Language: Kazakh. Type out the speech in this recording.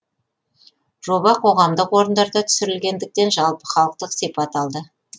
жоба қоғамдық орындарда түсірілгендіктен жалпыхалықтық сипат алды